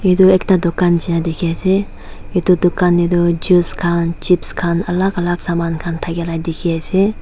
edu ekta dukan nishina dikhiase edu dukan taetoh juice khan chipes khan alak alak thakae la dikhiase.